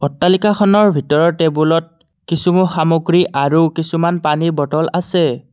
অট্টালিকাখনৰ ভিতৰৰ টেবুলত কিছু সামগ্ৰী আৰু কিছুমান পানীৰ বটল আছে।